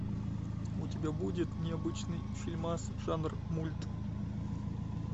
у тебя будет необычный фильмас жанр мульт